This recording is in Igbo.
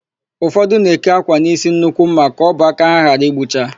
Ụfọdụ na-eke ákwà n'ísí nnukwu ḿmà ka ọbọ aka ha ghara ịgbụcha.